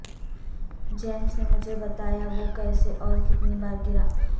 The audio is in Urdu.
جیمس نے مجھے بتایا وہ کیسے اور کتنی بار گرا